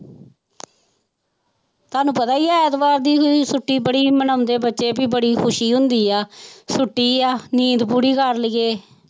ਤੁਹਾਨੂੰ ਪਤਾ ਹੀ ਹੈ ਐਤਵਾਰ ਦੀ ਛੁੱਟੀ ਬੜੀ ਮਨਾਉਂਦੇ ਬੱਚੇ ਵੀ ਬੜੀ ਖ਼ੁਸ਼ੀ ਹੁੰਦੀ ਆ ਛੁੱਟੀ ਆ ਨੀਂਦ ਪੂਰੀ ਕਰ ਲਈਏ।